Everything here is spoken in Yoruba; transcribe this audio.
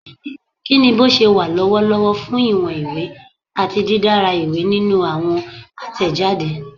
Kini boṣewa lọwọlọwọ fun iwọn iwe ati didara iwe ninu awọn atẹjade?